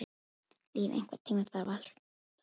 Líf, einhvern tímann þarf allt að taka enda.